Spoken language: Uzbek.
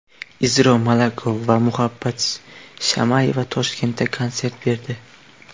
Izro Malakov va Muhabbat Shamayeva Toshkentda konsert berdi.